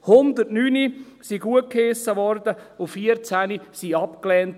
109 wurden gutgeheissen und 14 wurden abgelehnt.